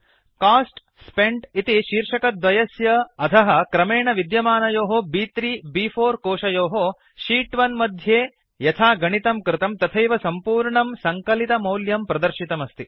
cost SPENT इति शीर्षिकाद्वयस्य अधः क्रमेण विद्यमानयोः ब्3 ब्4 कोशयोः शीत् 1 मध्ये यथा गणितं कृतं तथैव सम्पूर्णं सङ्कलितमौल्यं प्रदर्शितमस्ति